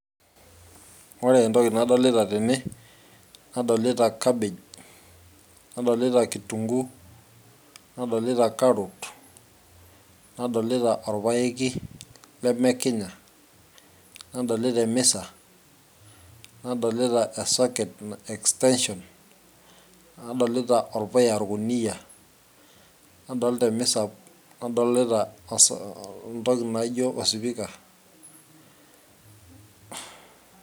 ore entoki nadolita tene nadolita cabbage nadolita kitunguu nadolita carrot nadolita orpayeki lemekinya nadolita emisa nadolita e socket extension nadolita orpuya orkuniyia nadolta emisa nadolita os entoki naijio osipika.